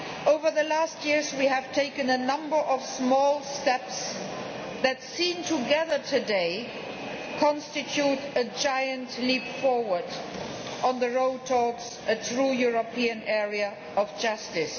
Over the last years we have taken a number of small steps that, seen together today, constitute a giant leap forward on the road towards a true European area of justice.